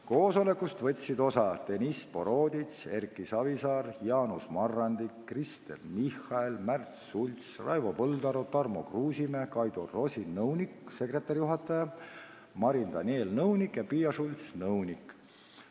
Koosolekust võtsid osa Deniss Boroditš, Erki Savisaar, Jaanus Marrandi, Kristen Michal, Märt Sults, Raivo Põldaru, Tarmo Kruusimäe, nõunik-sekretariaadijuhataja Kaido Rosin, nõunik Marin Daniel ja nõunik Piia Schults.